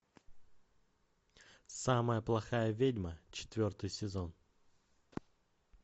самая плохая ведьма четвертый сезон